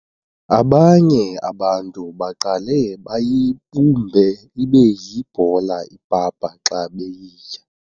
Abanye abantu baqale bayibumbe ibe yibhola ipapa xa beyitya.